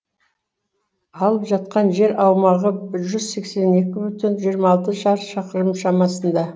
алып жатқан жер аумағы бір жүз сексен екі бүтін жүзден жиырма алты шаршы шақырым шамасында